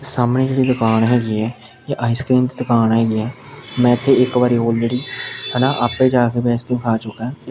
ਸਾਹਮਣੇ ਇਹ ਜੋ ਦੁਕਾਨ ਹੈਗੀ ਏ ਇਹ ਆਈਸਕ੍ਰੀਮ ਦੀ ਦੁਕਾਨ ਹੈਗੀ ਐ ਮੈਂ ਇੱਥੇ ਇੱਕ ਵਾਰੀ ਔਲਰੈਡੀ ਹੈਨਾ ਆਪੇ ਜਾਕੇ ਵੀ ਆਈਸਕ੍ਰੀਮ ਖਾ ਚੁਕਾਂ।